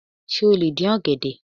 Sé o lè dín ọ̀gẹ̀dẹ̀?